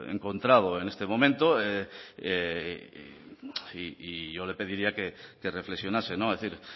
encontrado en este momento y yo le pediría que reflexionase es decir